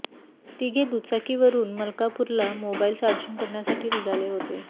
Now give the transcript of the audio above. तिघे दुचाकीवरून मलकापूरला मोबाईल चार्जिंग करण्यासाठी निघाले होते